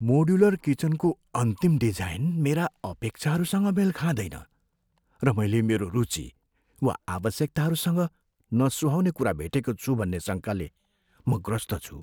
Modular किचनकोको अन्तिम design मेरा अपेक्षाहरूसँग मेल खाँदैन, र मैले मेरो रुचि वा आवश्यकताहरूसँग नसुहाउने कुरा भेटेको छु भन्ने शङ्काले म ग्रस्त छु।